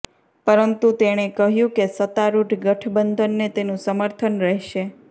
પરંતુ તેણે કહ્યું કે સત્તારુઢ ગઠબંધનને તેનું સમર્થન રહેશે